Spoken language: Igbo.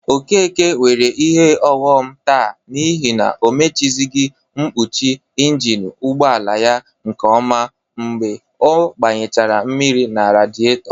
Okeke nwere ihe ọghọm taa n'ihi o mechizighi mpọchị ịnjịnị ụgbọala ya nke ọma mgbe ọ gbanyechara mmiri na radịetọ.